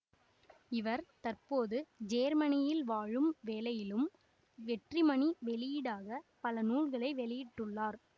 இவர் தற்போது ஜேர்மனயில் வாழும் வேளையிலும் வெற்றிமணி வெளியீடாக பல நூல்களை வெளியிட்டுள்ளார்